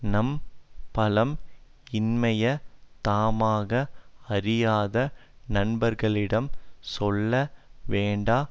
நம் பலம் இன்மையை தாமாக அறியாத நண்பர்களிடம் சொல்ல வேண்டா